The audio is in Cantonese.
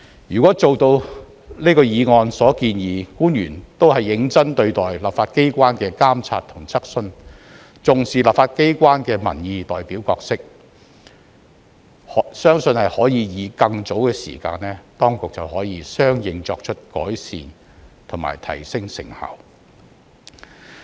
如果做到這項議案所建議：官員都是認真對待立法機關的監察和質詢、重視立法機關的民意代表角色，相信可以在更早的時間當局便能相應作出改善和提升成效。